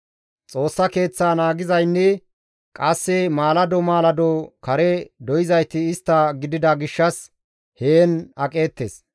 Xoossa Keeththa naagizaynne qasse maalado maalado kare doyzayti istta gidida gishshas heen aqeettes.